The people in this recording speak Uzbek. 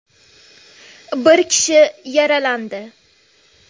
Bir kishi yaralandi.